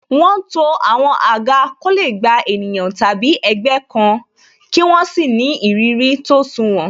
Wọn to àwọn àga ko le gba ènìyàn tàbí ẹgbẹ́ kan, kí wọ́n sì ni ìrírí tó sunwòn.